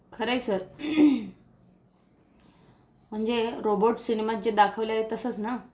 खरंय सर म्हणजे रोबोट सिनेमात जे दाखवले आहे तसंच ना?